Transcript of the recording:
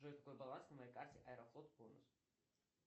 джой какой баланс на моей карте аэрофлот бонус